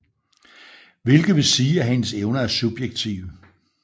Hvilket vil sige at hendes evner er subjektive